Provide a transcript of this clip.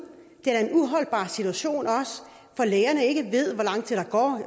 det er da en uholdbar situation for lægerne ikke